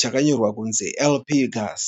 chakanyorwa kunzi LP gas.